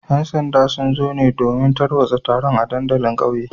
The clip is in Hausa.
‘Yan sanda sun zo ne domin tarwatsa taron a dandalin kauyen